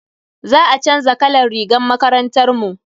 Za a chanza kalan rigar makarantar mu.